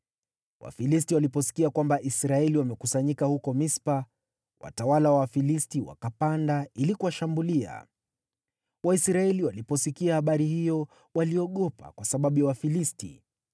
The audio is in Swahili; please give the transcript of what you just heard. Wafilisti waliposikia kwamba Israeli wamekusanyika huko Mispa, watawala wa Wafilisti wakapanda ili kuwashambulia. Waisraeli waliposikia habari hiyo, waliogopa kwa sababu ya Wafilisti.